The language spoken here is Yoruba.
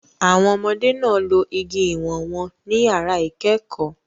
Àwọn ọmọdé náà lo igi ìwọ̀n wọn ní yàrá ìkẹ́kọ̀ọ́